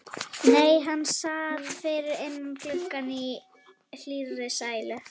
Nei, hann sat fyrir innan gluggann í hlýrri sælu.